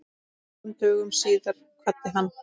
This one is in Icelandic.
Fjórum dögum síðar kvaddi hann.